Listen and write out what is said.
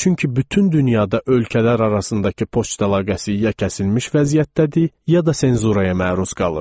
Çünki bütün dünyada ölkələr arasındakı poçt əlaqəsi ya kəsilmiş vəziyyətdədir, ya da senzurağa məruz qalır.